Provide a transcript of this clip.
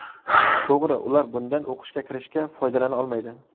To‘g‘ri, ular bundan o‘qishga kirishga foydalana olmaydi.